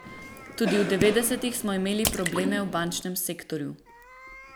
Tudi v devetdesetih smo imeli probleme v bančnem sektorju.